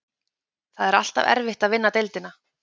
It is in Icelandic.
Það er alltaf erfitt að vinna deildina.